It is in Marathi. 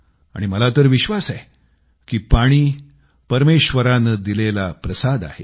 आणि माझा तर विश्वास आहे की पाणी परमेश्वरानं दिलेला प्रसाद आहे